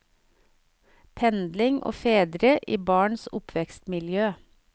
Pendling og fedre i barns oppvekstmiljø.